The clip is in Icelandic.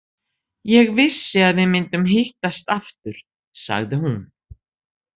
Ég vissi að við myndum hittast aftur, sagði hún.